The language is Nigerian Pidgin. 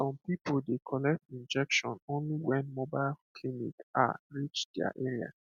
some people dey collect injection only when mobile clinic ah reach their area